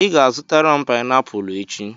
Ị ga-azụtara m painiapulu echi.